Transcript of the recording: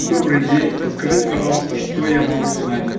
добрый день подскажите пожалуйста что я могу узнать